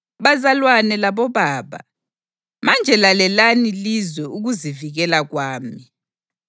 “Bazalwane labobaba, manje lalelani lizwe ukuzivikela kwami.”